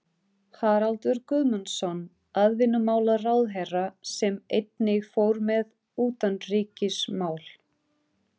Haraldur Guðmundsson atvinnumálaráðherra, sem einnig fór með utanríkismál.